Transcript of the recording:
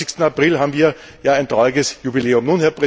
26. April haben wir ja ein trauriges Jubiläum.